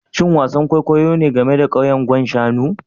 Shin wasan kwaikwayo ne game da kauyen Gwan Shanu